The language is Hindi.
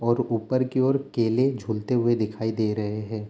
और ऊपर की ओर केले झूलते हुए दिखाई दे रहे हैं।